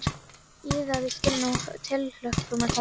Iðaði í skinninu af tilhlökkun að komast á ball.